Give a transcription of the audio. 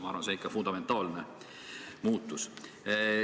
Ma arvan, et see on ikka fundamentaalne muutus.